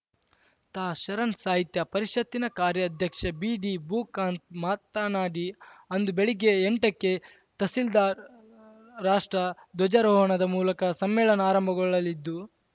ತಾಶರಣ ಸಾಹಿತ್ಯ ಪರಿಷತ್ತಿನ ಕಾರ್ಯಾಧ್ಯಕ್ಷ ಬಿಡಿ ಭೂಕಾಂತ್‌ ಮಾತನಾಡಿ ಅಂದು ಬೆಳಗ್ಗೆ ಎಂಟಕ್ಕೆ ತಹಸೀಲ್ದಾರ್‌ ರಾಷ್ಟ್ರ ದ್ವಜಾರೋಹಣದ ಮೂಲಕ ಸಮ್ಮೇಳನ ಆರಂಭಗೊಳ್ಳಲಿದ್ದು